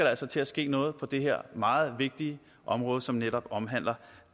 altså til at ske noget på det her meget vigtige område som netop omhandler